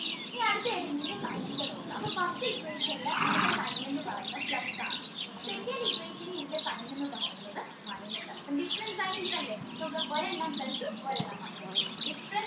ന്റെ നോക്കാം അപ്പൊ first equation ല് ഇതിൻറെ sign എന്ന് പറയുന്നത് plus ആണ് second equation ല് ഇതിൻറെ sign എന്ന് പറയുന്നത് minus ആണ് അപ്പൊ different signs അല്ലെ ഒരെണ്ണം plus ഉം ഒരെണ്ണം minus ഉം